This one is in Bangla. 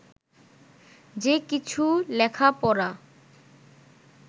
যে কিছু লেখা পড়া